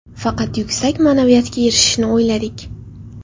Faqat yuksak ma’naviyatga erishishni o‘yladik.